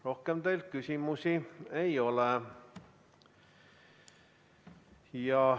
Rohkem teile küsimusi ei ole.